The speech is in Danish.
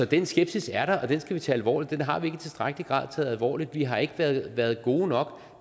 den skepsis er der og den skal vi tage alvorligt den har vi ikke i tilstrækkelig grad taget alvorligt vi har ikke været været gode nok